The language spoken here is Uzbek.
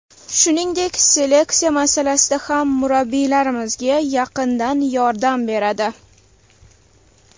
Shuningdek, seleksiya masalasida ham murabbiylarimizga yaqindan yordam beradi.